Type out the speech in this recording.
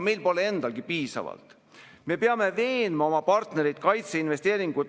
Kullakesed, meil on kümnendik maksutulusid juba ammu puudu ja see süvenes meie kolme kriisiga järjest, mitte ei vähenenud.